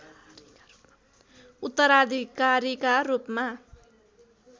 उत्तराधिकारीका रूपमा